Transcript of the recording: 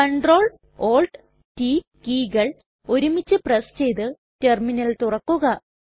Ctrl Alt t കീകൾ ഒരുമിച്ചു press ചെയ്ത് ടെർമിനൽ തുറക്കുക